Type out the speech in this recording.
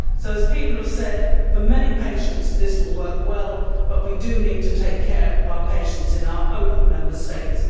As people have said, for many patients, this will work well, but we also need to take care of our patients in our own Member States.